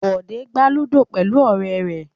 Bọ̀dé gbá ludo pẹ̀lú ọ̀rẹ́ rẹ̀.